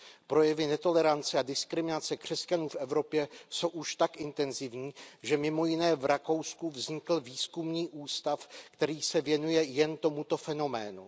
Projevy netolerance a diskriminace křesťanů v Evropě jsou už tak intenzivní, že mj. v Rakousku vznikl výzkumný ústav, který se věnuje jen tomuto fenoménu.